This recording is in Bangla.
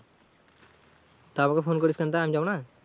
তা আমাকে ফোন করিস কেন তা, আমি যাব না?